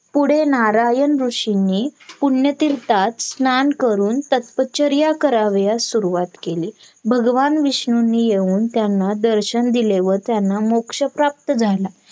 पुढे नारायण ऋषींनी पुण्यतीर्थात स्नान करून तपश्चर्या करावयास सुरुवात केली भगवान विष्णूनी येऊन त्यांना दर्शन दिले व त्यांना मोक्ष प्राप्त झाला